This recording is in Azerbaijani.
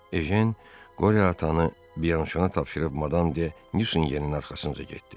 Ejen Qoryo atanı Bianşona tapşırıb Madam de Nüsingenin arxasınca getdi.